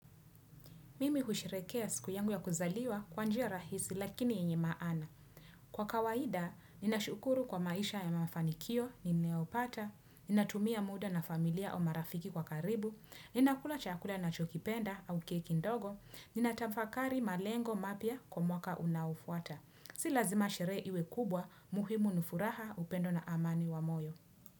Mimi husherehekea siku yangu ya kuzaliwa kwa njia rahisi lakini yeye maana. Kwa kawaida, ninashukuru kwa maisha ya mafanikio nimeyopata, ninatumia muda na familia au marafiki kwa karibu, ninakula chakula nachokipenda au keki ndogo, ninatafakari malengo mapya kwa mwaka unaofuata. Si lazima sherehe iwe kubwa muhimu ni furaha upendo na amani wa moyo.